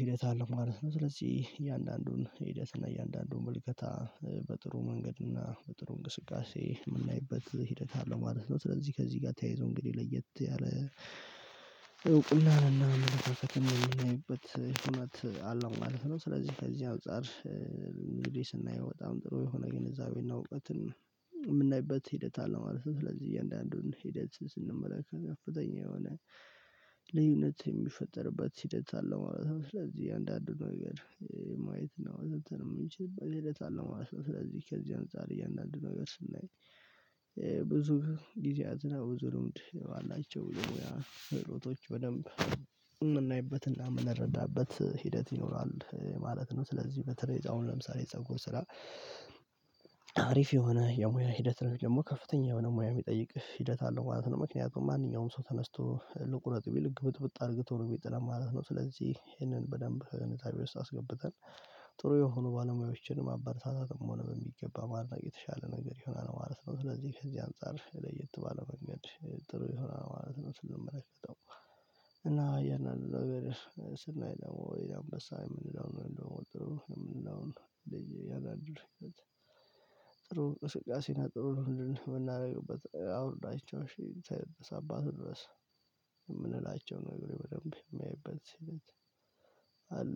ሂደት አለው ማለት ነው። ስለዚህ እያንዳንዱን ሂደት እና እያንዳንዱን ምልከታ በጥሩ መንገድና በጥሩ እንቅስቃሴ የምናይበት ሂደት አለው ማለት ነው። ስለዚህ ከዚህ ጋር ተያይዞ እንግዲህ ለየት ያለ እውቅና ነና መመሳሰት የምናይበት ሁነት አለው ማለት ነው። ስለዚህ ከዚህ አጻር እንግዲህ ስናይ በጣም ጥሩ የሆነ ግንዛቤ እና እውቀትን የምናይበት ሂደት አለ ማለት ነው። ስለዚህ እያንዳንዱን ሂደት ስንመለከት ከፍተኛ የሆነ ልዩነት የሚፈጠርበት ሂደት አለ ማለት ነው። ስለዚህ አንዳንዱ ነገር ማየት ነው የምንችለው ሂደት አለው ማለት ነው። ስለዚህ ከዚህ አንፃር እያንዳንዱን ነገር ስናይ ብዙ ጊዜያት ነው ብዙ ልምድ ባላቸው የሙያ ክህሎቶች በደንብ የምናይበትና የምንረዳበት ሂደት ይኖራል ማለት ነው። ስለዚህ በተለይ አሁን ለምሳሌ የፀጉር ስራ አሪፍ የሆነ የሙያ ሂደት ነው የሚል ደግሞ ከፍተኛ የሆነ ሙያ የሚጠይቅ ሂደት አለው ማለት ነው። ምክንያቱም ማንኛውም ሰው ተነስቶ ልቁረጥ ቢልቅ ግብጥብጥ አድርግቶ ነው ሚጥለን ማለት ነው። ስለዚህ ይሄንን በደንብ ኝዛቤ ውስጥ አስገብተን ጥሩ የሆኑ ባለሙያዎችን ማበርሳታትም ሆነ በሚገባ ማድነቅ የተሻለ ነገር ይሆናል ማለት ነው። ስለዚህ ከዚህ አንፃር ለየት ባለ መንገድ ጥሩ ይሆናል ማለት ነው። ስንመለከተው እና የእናንተ እያንዳንዱን ነገር ስናይ ደግሞ ወይ አምበሳ የምንለው ነው የምንለው ነው ያላደረገች አይደለም ጥሩ ቅስቀሴና ጥሩ የምናደርገው አውርዳቸውን ሺህ ሰባት ድረስ የምንላቸው ነገር በደንብ የማየበት ሲል